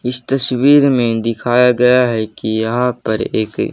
इस तस्वीर में दिखाया गया है कि यहां पर एक--